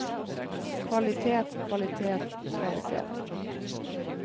kvalitet kvalitet kvalitet